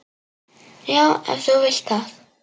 Já, ef þú vilt það.